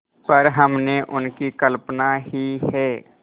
पर हमने उनकी कल्पना ही है